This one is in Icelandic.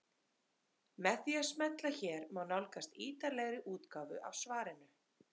Með því að smella hér má nálgast ítarlegri útgáfu af svarinu.